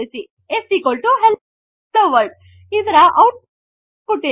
S hello world ಇದರ output ಏನು